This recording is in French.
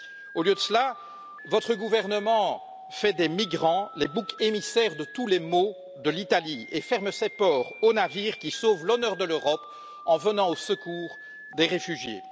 Au lieu de cela, votre gouvernement fait des migrants les boucs émissaires de tous les maux de l'Italie et ferme ses ports aux navires qui sauvent l'honneur de l'Europe en venant au secours des réfugiés.